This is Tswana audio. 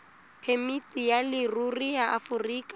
phemiti ya leruri ya aforika